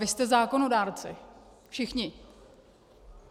Vy jste zákonodárci, všichni.